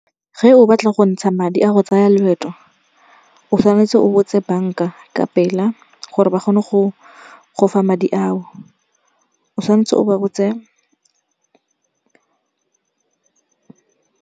Ge o batla go ntsha madi a go tsaya loeto, o tshwanetse o botse banka ka pela gore ba kgone go gofa madi ao. O tshwanetse o ba botse.